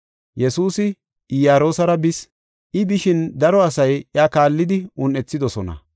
Yesuusi Iyaroosara bis. I bishin daro asay iya kaallidi un7ethidosona.